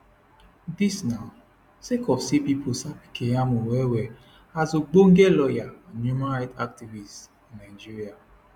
dis na sake of say pipo sabi keyamo wellwell as ogbonge lawyer and human right activist for nigeria